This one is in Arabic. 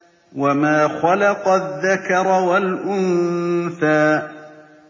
وَمَا خَلَقَ الذَّكَرَ وَالْأُنثَىٰ